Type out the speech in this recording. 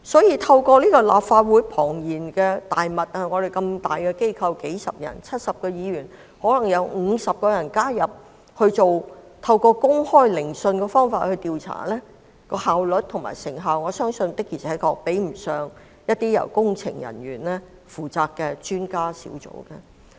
因此，在立法會這個龐大的機構中 ，70 位議員中可能有50位議員加入委員會以公開聆訊的方式調查，我相信效率和成效確實比不上由工程人員組成的專家小組。